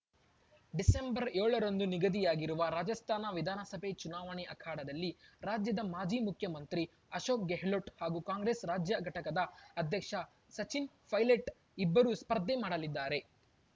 December ಏಳರಂದು ನಿಗದಿಯಾಗಿರುವ ರಾಜಸ್ಥಾನ ವಿಧಾನಸಭೆ ಚುನಾವಣೆ ಅಖಾಡದಲ್ಲಿ ರಾಜ್ಯದ ಮಾಜಿ ಮುಖ್ಯಮಂತ್ರಿ ಅಶೋಕ್‌ ಗೆಹ್ಲೋಟ್‌ ಹಾಗೂ ಕಾಂಗ್ರೆಸ್‌ ರಾಜ್ಯ ಘಟಕದ ಅಧ್ಯಕ್ಷ ಸಚಿನ್‌ ಪೈಲಟ್‌ ಇಬ್ಬರೂ ಸ್ಪರ್ಧೆ ಮಾಡಲಿದ್ದಾರೆ